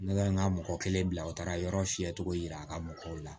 Ne ka n ka mɔgɔ kelen bila u taara yɔrɔ fiyɛ cogo yira a ka mɔgɔw la